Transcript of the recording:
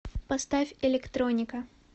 поставь электроника